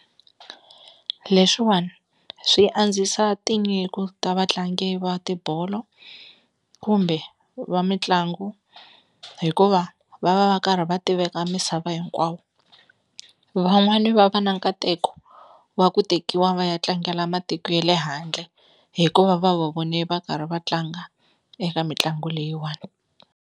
Leswiwani swi andzisa tinyiko ta vatlangi va tibolo kumbe va mitlangu hikuva va va va karhi va tiveka misava hinkwawo, van'wani va va na nkateko wa ku tekiwa va ya tlangela matiko ye le handle hikuva va va vone va karhi va tlanga eka mitlangu leyiwani.